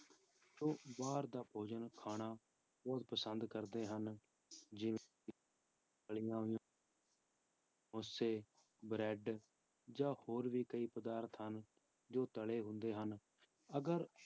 ਉਹ ਬਾਹਰ ਦਾ ਭੋਜਨ ਖਾਣਾ ਬਹੁਤ ਪਸੰਦ ਕਰਦੇ ਹਨ, ਜਿਵੇਂ ਕਿ ਤਲੀਆਂ ਹੋਈਆਂ ਸਮੋਸੇ, ਬਰੈਡ ਜਾਂ ਹੋਰ ਵੀ ਕਈ ਪਦਾਰਥ ਹਨ ਜੋ ਤਲੇ ਹੁੰਦੇ ਹਨ, ਅਗਰ